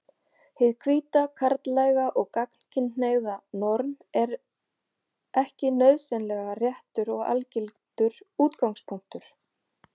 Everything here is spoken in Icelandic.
Hið hvíta, karllæga og gagnkynhneigða norm er ekki nauðsynlega réttur og algildur útgangspunktur.